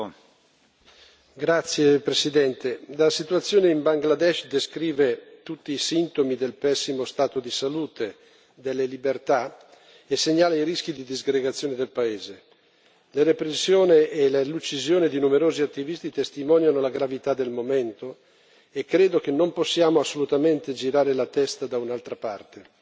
Signor Presidente, onorevoli colleghi, la situazione in Bangladesh descrive tutti i sintomi del pessimo stato di salute delle libertà e segnala i rischi di disgregazione del paese. La repressione e l'uccisione di numerosi attivisti testimoniano la gravità del momento, e credo che non possiamo assolutamente girare la testa da un'altra parte.